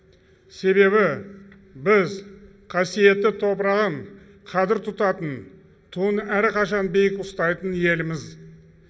себебі біз қасиетті топырағын қадір тұтатын туын әрқашан биік ұстайтын елміз